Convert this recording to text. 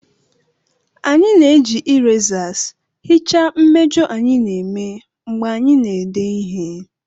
Anyị na-eji erasers hichaa mmejọ anyị na-eme mgbe anyị na-ede ihe